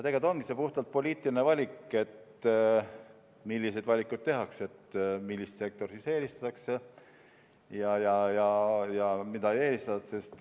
Tegelikult ongi see puhtalt poliitiline valik, milliseid valikuid tehakse, millist sektorit eelistatakse ja mida ei eelistata.